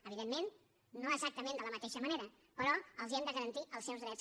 evidentment no exactament de la mateixa manera però els hem de garantir els seus drets